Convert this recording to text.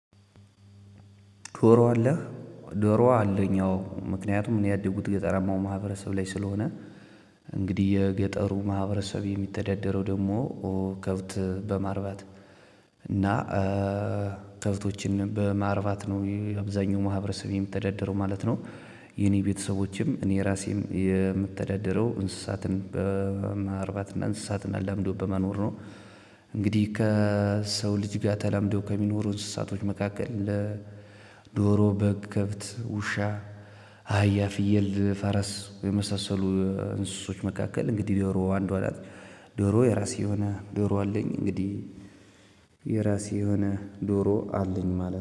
ዶሮ አለ ዶሮ አለኝ ያው ምክንያቱም እኔ ያደኩት ገጠራማው ማህበረሰብ ላይ ስለሆነ። እንግዲህ የገጠሩ ማህበረሰብ የሚተዳደረው ደግሞ ከብት በማርባት እና ከብቶችን በማርባት ነው የአብዛኛው ማህበረሰብ የሚተዳደረው ማለት ነው። የኔ ቤተሰቦችም እኔ ራሴም የምተዳደረው እንስሳትን በማርባትና እንስሳትና አላምዶ በማኖር ነው። እንግዲህ ከሰው ልጅ ጋር ተላምዶ ከሚኖሩ እንስሳቶች መካከል ለዶሮ በግ ከብት ውሻ። አህያ ፍየል ፈረስ የመሳሰሉ እንስሶች መካከል እንግዲህ ዶሮ አንዷ ናት። ዶሮ የራሴ የሆነ ዶሮ አለኝ እንግዲህ የሆነ ዶሮ አለኝ ማለት ነው